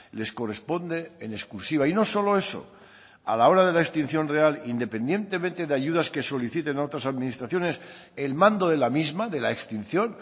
les corresponde en exclusiva y no solo eso a la hora de la extinción real independientemente de ayudas que soliciten a otras administraciones el mando de la misma de la extinción